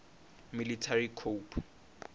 military coup